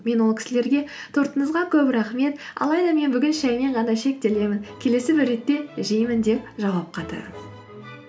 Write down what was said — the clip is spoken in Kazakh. мен ол кісілерге тортыңызға көп рахмет алайда мен бүгін шәймен ғана шектелемін келесі бір ретте жеймін деп жауап қайтарамын